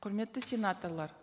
құрметті сенаторлар